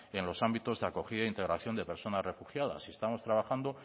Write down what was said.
en los ámbitos de acogida e integración de personas refugiadas estamos trabajando